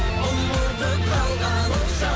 ұмытып қалғаныңша